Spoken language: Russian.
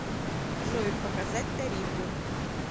джой показать тарифы